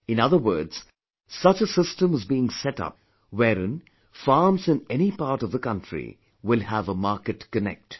In other words, such a system is being set up where in farms in any part of the country will have a marketconnect